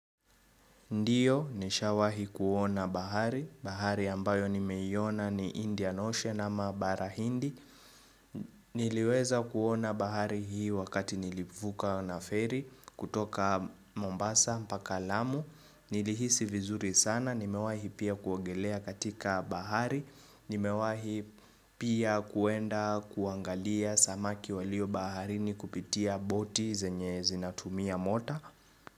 Ndiyo, nishawahi kuona bahari. Bahari ambayo nimeiona ni Indian Ocean ama bara hindi. Niliweza kuona bahari hii wakati nilivuka na ferry kutoka Mombasa, mpaka lamu. Nilihisi vizuri sana. Nimewahi pia kuongelea katika bahari. Nimewahi pia kuenda kuangalia samaki walio baharini kupitia boti zenye zinatumia mota.